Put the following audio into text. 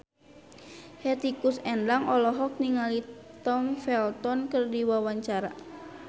Hetty Koes Endang olohok ningali Tom Felton keur diwawancara